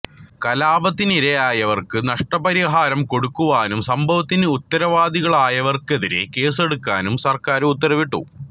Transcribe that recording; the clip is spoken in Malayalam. കലാപത്തിനിരയായവർക്ക് നഷ്ടപരിഹാരം കൊടുക്കുവാനും സംഭവത്തിനു ഉത്തരവാദികളായവർക്കെതിരേ കേസെടുക്കാനും സർക്കാർ ഉത്തരവിട്ടു